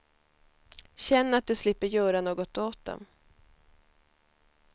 Känn att du slipper göra något åt dem.